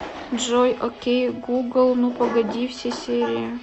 джой о кей гугл ну погоди все серии